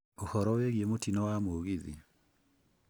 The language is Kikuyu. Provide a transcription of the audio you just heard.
ũhoro wĩgiĩ mutino wa mũgithi